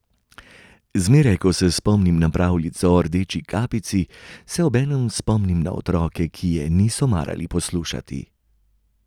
Zmeraj, ko se spomnim na pravljico o Rdeči kapici, se obenem spomnim na otroke, ki je niso marali poslušati.